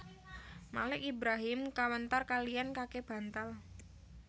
Malik Ibrahim Kawentar kaliyan Kake bantal